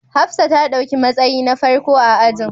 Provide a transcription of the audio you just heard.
Hafsat ta dauki matsayi na farko a ajin